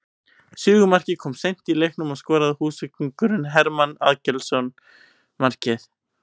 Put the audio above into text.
Sigurmarkið kom seint í leiknum og skoraði Húsvíkingurinn Hermann Aðalgeirsson markið